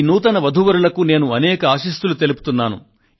ఈ నూతన వధూవరులకు నేను మనపూర్వక ఆశీర్వాదం అందజేస్తున్నాను